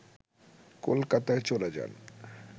কলকাতায় চলে যান